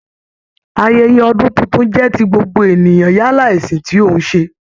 Ayẹyẹ ọdun tuntun jẹ ti gbogbo ènìyàn yálà ẹṣin ti o n ṣe.